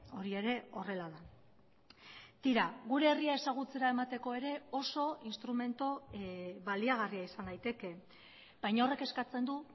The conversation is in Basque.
hori ere horrela da tira gure herria ezagutzera emateko ere oso instrumentu baliagarria izan daiteke baina horrek eskatzen du